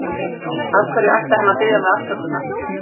Af hverju ætti hann að biðja mig afsökunar?